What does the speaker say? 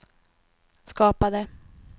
skapade